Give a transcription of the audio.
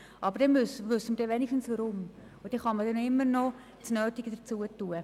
Aber dann wissen wir wenigstens, warum, und dann kann man immer noch das Nötige machen.